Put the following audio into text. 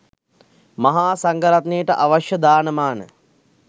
මහා සංඝරත්නයට අවශ්‍ය දාන මාන